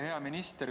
Hea minister!